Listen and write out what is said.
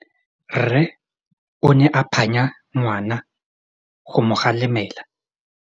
Rre o ne a phanya ngwana go mo galemela.